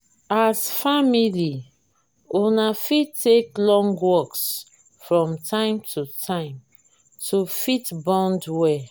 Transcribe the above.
as family una fit take long walks from time to time to fit bond well